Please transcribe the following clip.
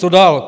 Co dál?